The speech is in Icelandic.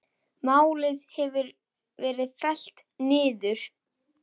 Málið hefur verið fellt niður.